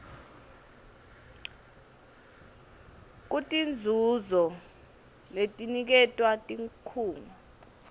kutinzuzo letiniketwa tikhungo